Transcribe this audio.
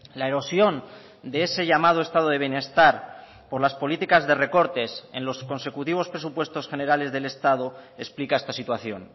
la erosión de ese llamado estado de bienestar por las políticas de recortes en los consecutivos presupuestos generales del estado explica esta situación